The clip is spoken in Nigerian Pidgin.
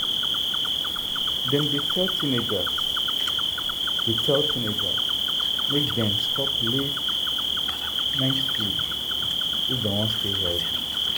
dem dey tell teenagers dey tell teenagers make dem stop late-night food if dem wan stay healthy.